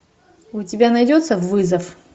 у тебя найдется вызов